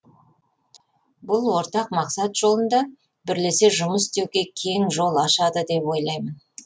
бұл ортақ мақсат жолында бірлесе жұмыс істеуге кең жол ашады деп ойлаймын